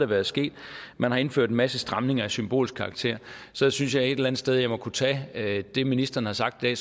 være sket at man har indført en masse stramninger af symbolsk karakter så synes jeg et eller andet sted at jeg må kunne tage det ministeren har sagt i